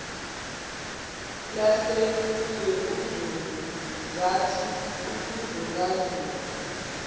lasebhekuzulu zathi ukuzulazula